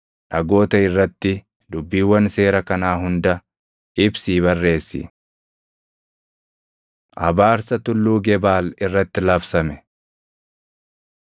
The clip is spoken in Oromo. Dhagoota irratti dubbiiwwan seera kanaa hunda ibsii barreessi.” Abaarsa Tulluu Gebaal Irratti Labsame